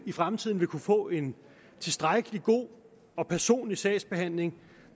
i fremtiden vil kunne få en tilstrækkelig god og personlig sagsbehandling